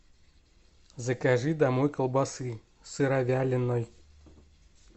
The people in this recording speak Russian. закажи домой колбасы сыровяленой